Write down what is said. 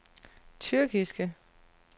tyrkiske